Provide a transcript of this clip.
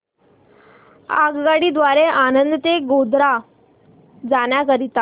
आगगाडी द्वारे आणंद ते गोध्रा जाण्या करीता